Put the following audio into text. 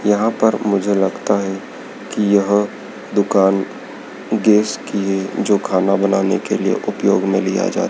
यहां पर मुझे लगता है कि यहां दुकान गैस की है जो खाना बनाने के लिए उपयोग में लिया जाए।